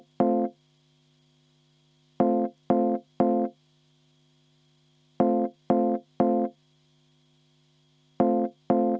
V a h e a e g